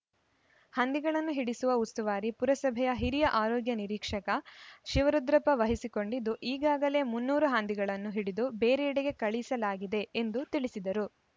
ಹಂದಿಗಳನ್ನು ಹಿಡಿಸುವ ಉಸ್ತುವಾರಿ ಪುರಸಭೆಯ ಹಿರಿಯ ಆರೋಗ್ಯ ನಿರೀಕ್ಷಕ ಶಿವರುದ್ರಪ್ಪ ವಹಿಸಿ ಕೊಂಡಿದ್ದು ಈಗಾಗಲೇ ಮುನ್ನೂರು ಹಂದಿಗಳನ್ನು ಹಿಡಿದು ಬೇರೆಡೆಗೆ ಕಳಿಸಲಾಗಿದೆ ಎಂದು ತಿಳಿಸಿದರು